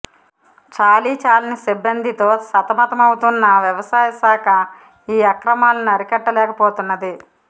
చాలీ చాలని సిబ్బందితో సతమతమవుతున్న వ్యవసాయశాఖ ఈ అక్రమా లను అరికట్టలేకపోతున్నది